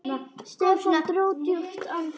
Stefán dró djúpt andann.